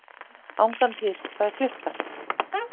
Angantýr, hvað er klukkan?